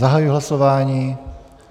Zahajuji hlasování.